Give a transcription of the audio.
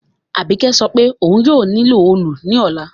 Àbíkẹ́ sopé oun yio nílò òòlù ní òla